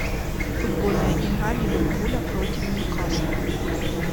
футбольная игра ливерпуля против ньюкасла